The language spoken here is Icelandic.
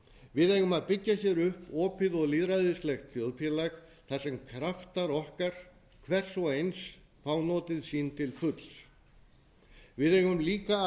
við eigum að byggja hér upp opið og lýðræðislegt þjóðfélag þar sem kraftar okkar hvers og eins fá notið sín til fulls við eigum líka að